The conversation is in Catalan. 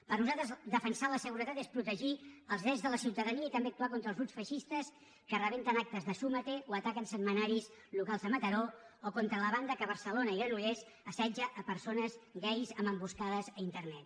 per nosaltres defensar la seguretat és protegir els drets de la ciutadania i també actuar contra els grups feixistes que rebenten actes de súmate o ataquen setmanaris locals de mataró o contra la banda que a barcelona i granollers assetja persones gais amb emboscades a internet